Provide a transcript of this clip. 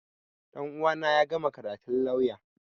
Ɗan uwana ya gama karatun lauya